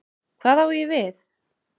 Hvað á ég við?